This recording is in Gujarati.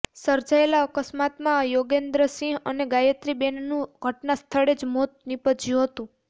સર્જાયેલા અકસ્માતમાં યોગેન્દ્રસિંગ અને ગાયત્રીબેનનું ઘટના સ્થળે જ મોત નીપજયું હતું